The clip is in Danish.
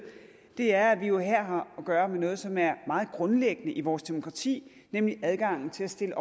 er at vi jo her har at gøre med noget som er meget grundlæggende i vores demokrati nemlig adgangen til at stille